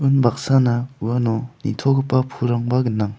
un baksana uano nitogipa pulrangba gnang.